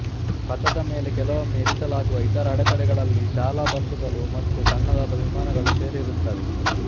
ಪಥದ ಮೇಲೆ ಕೆಲವೊಮ್ಮೆ ಇರಿಸಲಾಗುವ ಇತರ ಅಡೆತಡೆಗಳಲ್ಲಿ ಶಾಲಾ ಬಸ್ಸುಗಳು ಮತ್ತು ಸಣ್ಣದಾದ ವಿಮಾನಗಳು ಸೇರಿರುತ್ತವೆ